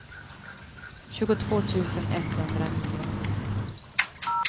tjugotvå tusen etthundranio